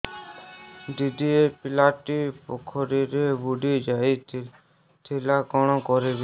ଦିଦି ଏ ପିଲାଟି ପୋଖରୀରେ ବୁଡ଼ି ଯାଉଥିଲା କଣ କରିବି